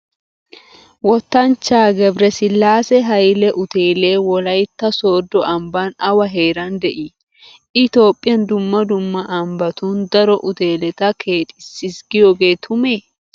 Wottanchchaa Gebiresillaase Hayle uuteelee Wolaytta Sooddo ambban awa heeran de"ii? " I Toophphiyan dumma dumma ambbatun daro uteeleta keexissiis" giyogee tumee?